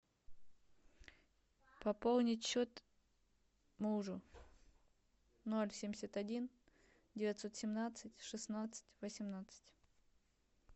пополнить счет мужу ноль семьдесят один девятьсот семнадцать шестнадцать восемнадцать